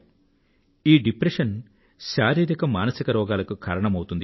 ఈ డిప్రెషన్ శారీరిక మానసిక రోగాలకు కారణమవుతుంది